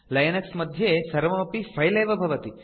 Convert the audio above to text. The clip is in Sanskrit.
लिनक्स मध्ये सर्वमपि फिले एव भवति